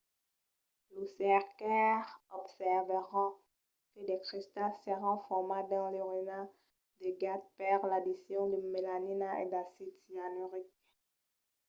los cercaires observèron que de cristals s'èran formats dins l'urina de gat per l'addicion de melanina e d'acid cianuric